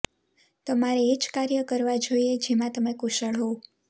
તમારે એ જ કાર્ય કરવા જોઈએ જેમાં તમે કુશળ હોવ